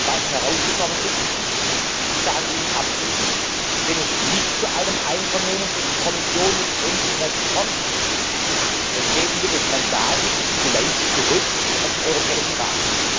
sind, was herausgekommen ist, und ich sage Ihnen abschließend, wenn es nicht zu einem Einvernehmen zwischen Kommission und ENSREG kommt, dann geben wir das Mandat vielleicht zurück an den Europäischen